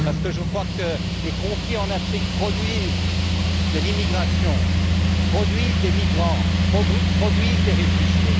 Je crois que les conflits en Afrique produisent de l'immigration, produisent des migrants, produisent des réfugiés.